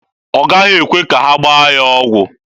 Ọ gaghị ekwe ka ha gbaa ya ọgwụ.